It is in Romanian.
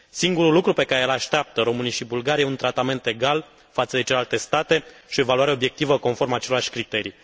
Singurul lucru pe care îl așteaptă românii și bulgarii este un tratament egal față de celelalte state și o evaluare obiectivă conform acelorași criterii.